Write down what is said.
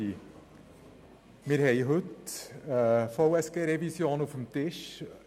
der BiK. Wir haben heute eine VSG-Revision auf dem Tisch.